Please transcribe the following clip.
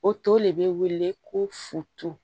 O to le be wele ko foto